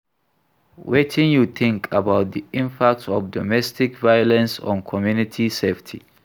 Wetin you think about di impact of domestic violence on community safety?